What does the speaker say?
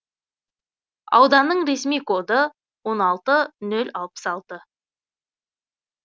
ауданның ресми коды он алты нол алпыс алты